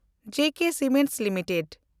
ᱡᱮ K cements limited